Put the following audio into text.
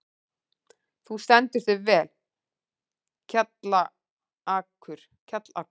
Þú stendur þig vel, Kjallakur!